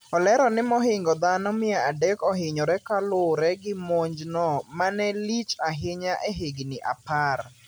Olero ni mohingo dhano mia adek ohinyore kalure gi monjno manelich ahinya ehigni apar.